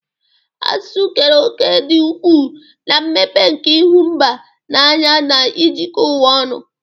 Asụsụ keere òkè dị ukwuu na mmepe nke ịhụ mba n'anya na ijikọ ụwa ọnụ.